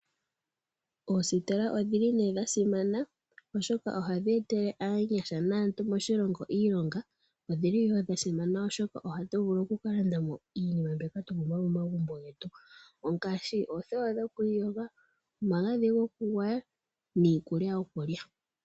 Oositola oshili nee dha simana oshoka ohadhi etele aanyasha naantu moshilongo iilonga. Odhili woo dha simana, oshoka ohatu vulu oku kalanda mo iinima mbyoka twa pumbwa momagumbo getu, ngaashi, oothewa dhoku iyoga, omagadhi go kugwaya, niikulya yokulya.